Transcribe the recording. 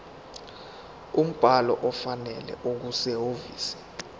umbhalo ofanele okusehhovisi